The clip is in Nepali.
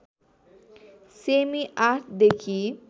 सेमि ८ देखि